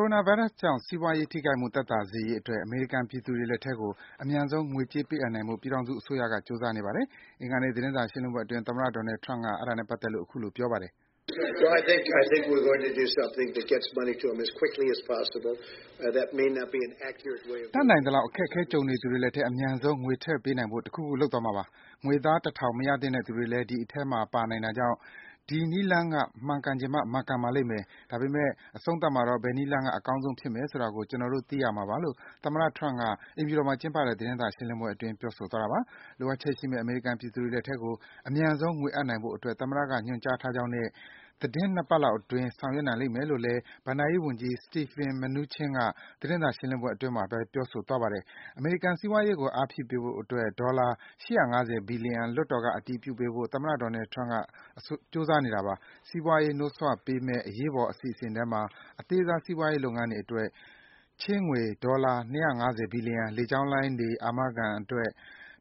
ိုရိုနာဗိုင်းရပ်စ်ကြောင့် စီးပွားရေး ထိခိုက်မှု သက်သာစေရေးအတွက် အမေရိကန် ပြည်သူတွေ လက်ထဲကို အမြန်ဆုံး ငွေကြေး ပေးအပ်နိုင်ဖို့ ပြည်ထောင်စု အစိုးရက ကြိုးစားနေပါတယ်။ အင်္ဂါနေ့ သတင်းစာ ရှင်းလင်းပွဲအတွင်း သမ္မတ Donald Trump က အခုလို ပြောပါတယ်။ တတ်နိုင်သလောက် အခက်အခဲကြုံနေသူတွေလက်ထဲ အမြန်ဆုံး ငွေထည့်ပေးနိုင်ဖို့ တခုခု လုပ်မှာပါ။ ငွေသား ၁,၀၀၀ မရသင့်တဲ့သူတွေလည်း ဒီအထဲမှာ ပါနိုင်တာကြောင့် ဒီနည်းလမ်းက မှန်ချင်မှ မှန်ကန်ပါလိမ့်မယ်။ ဒါပေမဲ့ အဆုံးသတ်မှာတော့ ဘယ်နည်းလမ်းက အကောင်းဆုံးဖြစ်မယ်ဆိုတာကို ကျနော်တို့ သိရမှာပါ။ လိုအပ်ချက်ရှိမယ့် အမေရိကန် ပြည်သူတွေ လက်ထဲကို အမြန်ဆုံး ငွေအပ်နိုင်ဖို့ အတွက် သမ္မတ က ညွှန်ကြားထားကြောင်းနဲ့ သီတင်း ၂ ပတ်လောက်အတွင်း ဆောင်ရွက်မယ်လို့လည်း ဘဏ္ဍာရေး ဝန်ကြီး Steven Mnuchin က သတင်းစာရှင်းလင်းပွဲမှာ ပြောဆိုသွားပါတယ်။ အမေရိကန် စီးပွားရေးကို အားဖြည့်ပေးဖို့ အတွက် ဒေါ်လာ ၈၅၀ ဘီလီယံ လွှတ်တော်ဘက်က အတည်ပြုပေးဖို့ သမ္မတ Donald Trump အစိုးရက ကြိုးစားနေပါတယ်။ စီးပွားရေး နှိုးဆွပေးမယ့် အရေးပေါ်အစီအစဉ်ထဲမှာ အသေးစား စီးပွားရေး လုပ်ငန်းတွေ အတွက် ချေးငွေ ဒေါ်လာ ၂၅၀ ဘီလျံ၊ လေကြောင်းလိုင်းတွေ အာမခံ အတွက်